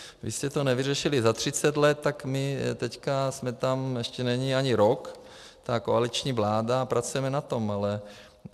Vy jste to nevyřešili za 30 let, tak my teď jsme tam, ještě není ani rok, ta koaliční vláda, a pracujeme na tom.